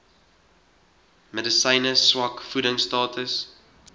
medisyne swak voedingstatus